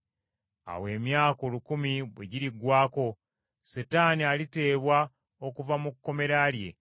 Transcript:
Awo emyaka olukumi bwe giriggwaako, Setaani aliteebwa okuva mu kkomera lye.